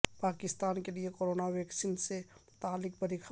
پاکستان کے لیے corona vaccine سے متعلق بڑی خبر